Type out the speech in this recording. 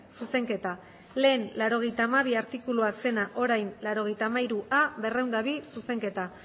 zuzenketa lehen laurogeita hamabi artikulua zena orain laurogeita hamairua berrehun eta bi zuzenketa